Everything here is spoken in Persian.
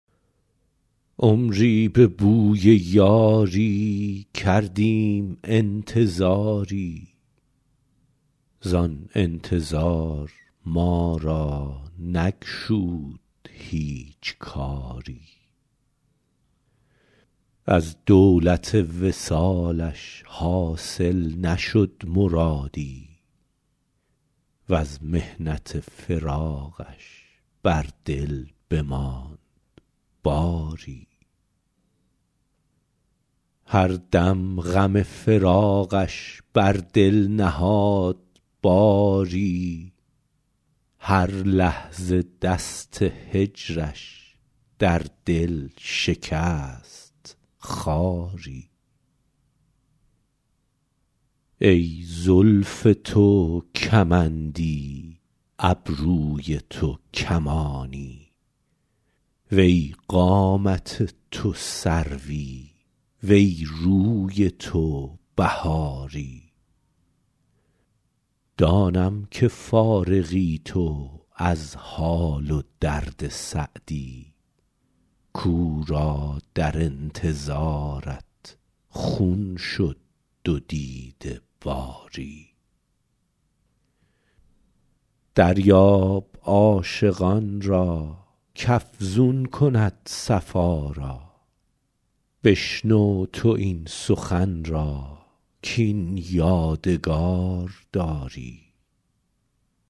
عمری به بوی یاری کردیم انتظاری زآن انتظار ما را نگشود هیچ کاری از دولت وصالش حاصل نشد مرادی وز محنت فراقش بر دل بماند باری هر دم غم فراقش بر دل نهاد باری هر لحظه دست هجرش در دل شکست خاری ای زلف تو کمندی ابروی تو کمانی وی قامت تو سروی وی روی تو بهاری دانم که فارغی تو از حال و درد سعدی کاو را در انتظارت خون شد دو دیده باری دریاب عاشقان را کافزون کند صفا را بشنو تو این سخن را کاین یادگار داری